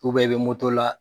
i bɛ la